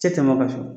Tɛ tɛmɛ o kan so